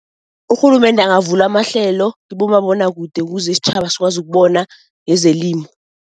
Urhulumende angavula amahlelo kibomabonakude ukuze isitjhaba sikwazi ukubona yezelimo.